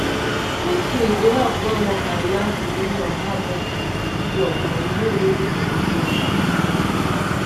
tru tru e dey help wen worker yarn di meaning of how mediine dey cure for di way wey people go take understand.